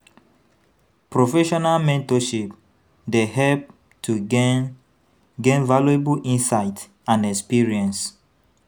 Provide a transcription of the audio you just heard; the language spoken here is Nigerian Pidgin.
Professional mentorship dey help to gain gain valuable insights and experience.